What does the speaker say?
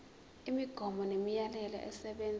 imigomo nemiyalelo esebenza